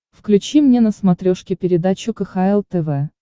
включи мне на смотрешке передачу кхл тв